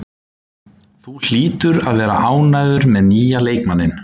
Þú hlýtur að vera ánægður með nýja leikmanninn?